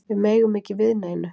Við megum ekki við neinu